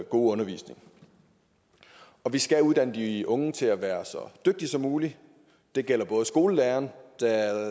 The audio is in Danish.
undervisning vi skal uddanne de unge til at være så dygtige som muligt det gælder skolelæreren